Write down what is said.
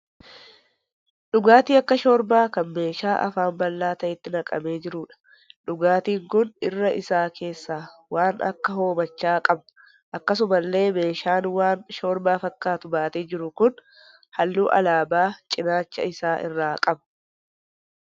Dhugaatii akka shoorbaa kan meeshaa afaan bal'aa ta'etti naqamee jiruudha. Dhugaatiin kun irra isaa keessaa waan akka hoomachaa qaba. Akkasumallee meeshaan waan shoorbaa fakkaatu baatee jiru kun halluu alaabaa cinaacha isaa irraa qaba.